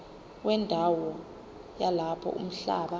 wendawo yalapho umhlaba